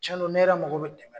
Cɛ don ne yɛrɛ mago bɛ dɛmɛ na.